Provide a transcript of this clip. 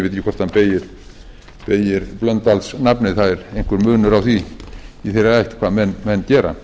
efni ég veit ekki hvort hann beygir blöndalsnafnið það er einhver munur á því í þeirri ætt hvað menn gera